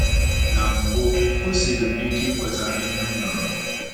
Na mbụ, o siiri m ike ikweta ihe m nụrụ.